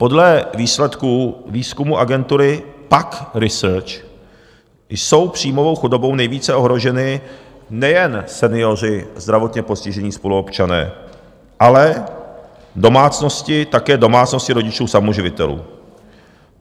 Podle výsledků výzkumu agentury PAQ Research jsou příjmovou chudobou nejvíce ohroženi nejen senioři, zdravotně postižení spoluobčané, ale domácnosti, také domácnosti rodičů samoživitelů.